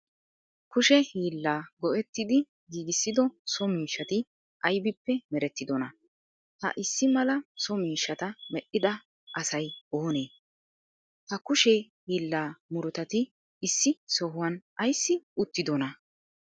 Kushe hilla go'ettidi giggissido so miishshati aybippe mereetidonaa? Ha issi mala so miishshataa medhdhida asay oone? Ha kushe hilla murutatti issi sohuwan aysi uttidonaa?